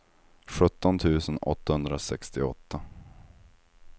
sjutton tusen åttahundrasextioåtta